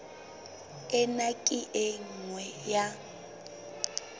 ena ke e nngwe ya